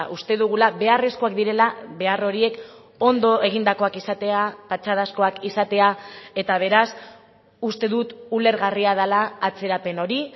uste dugula beharrezkoak direla behar horiek ondo egindakoak izatea patxadazkoak izatea eta beraz uste dut ulergarria dela atzerapen hori